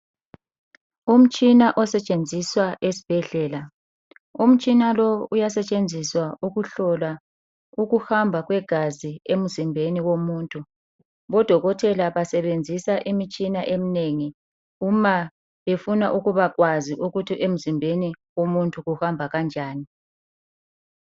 Umtshina osetshenziswa esbhedlela. Umtshina lowu uyasetshenziswa ukuhlola ukuhamba kwegazi emzimbeni womuntu. Odokotela basebenzisa imitshina eminengi uma befuna ukuba kwazi ukuthi emzimbeni womuntu kuhamba kanjani.